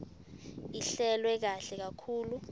ihlelwe kahle kakhulu